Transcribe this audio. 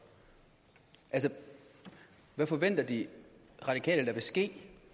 altså hvad forventer de radikale at der vil ske